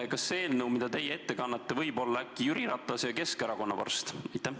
Kas see eelnõu, mida teie ette kannate, võib olla äkki Jüri Ratase ja Keskerakonna vorst?